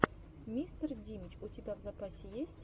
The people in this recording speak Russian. мистер димич у тебя в запасе есть